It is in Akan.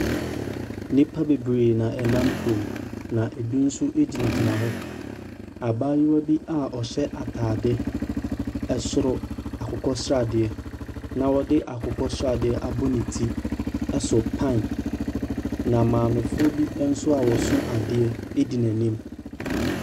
Nnipa bebree na wɔnam kurom, na ebi nso gyinagyina hɔ. Abayewa bi a ɔhyɛ atadeɛ soro akokɔ sradeɛ, na ɔde akokɔ sradeɛ abɔ ne ti so pan, na maamefoɔ bi nso a wɔso adeɛ di n'anim.